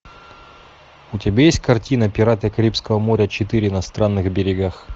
у тебя есть картина пираты карибского моря четыре на странных берегах